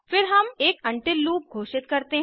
फिर हम एक उंटिल लूप घोषित करते हैं